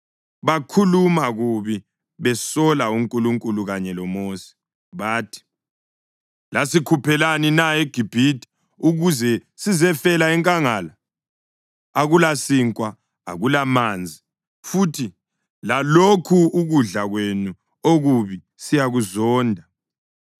bakhuluma kubi besola uNkulunkulu kanye loMosi, bathi, “Lasikhuphelani na eGibhithe ukuze sizefela enkangala? Akulasinkwa! Akulamanzi! Futhi lalokhu ukudla kwenu okubi siyakuzonda.”